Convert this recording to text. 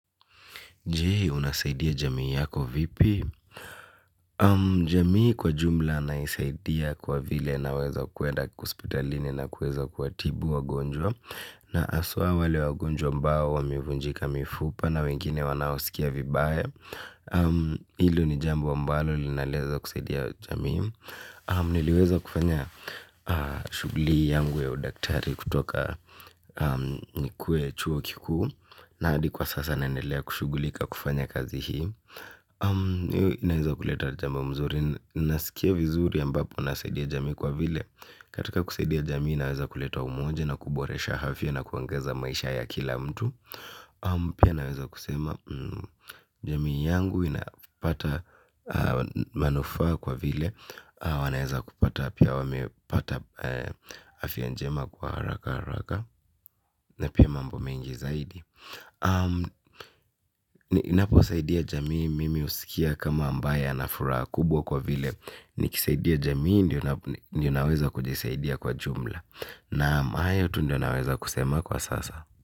Jei, unasaidia jamii yako vipi? Jamii kwa jumla naisaidia kwa vile naweza kuenda kuspitalini na kuwezo kuatibu wagonjwa. Na aswa wale wagonjwa ambao wa mevunjika mifupa na wengine wanaosikia vibaya. Hilo ni jambo wa mbalo linalezwa kusaidia jamii niliweza kufanya shuguki yangu ya udakitari kutoka nikuwe chuo kikuu. Na adi kwa sasa naendelea kushugulika kufanya kazi hii. Inaweza kuleta jamu mzuri. Inasikia vizuri ambapo nasaidia jami kwa vile katika kusaidia jamii naweza kuleta umoja na kuboresha afya na kuangeza maisha ya kila mtu. Pia naweza kusema jamii yangu inapata manufaa kwa vile wanaweza kupata pia wamepata afya njema kwa haraka. Na pia mambo mengi zaidi. Napo wasaidia jamii mimi usikia kama ambaye na furaha kubwa kwa vile nikisaidia jamii ndiyo naweza kujisaidia kwa jumla. Naam hayo tu ndio naweza kusema kwa sasa.